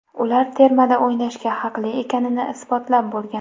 Ular termada o‘ynashga haqli ekanini isbotlab bo‘lgan.